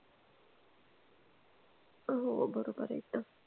हो बरोबर आहे एकदम